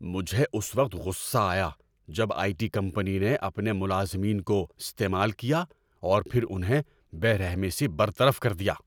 مجھے اس وقت غصہ آیا جب آئی ٹی کمپنی نے اپنے ملازمین کو استعمال کیا اور پھر انہیں بے رحمی سے برطرف کر دیا۔